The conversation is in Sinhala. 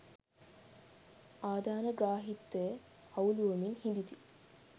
ආධානග්‍රාහීත්වය අවුළුවමින් හිඳිති